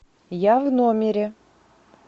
я в номере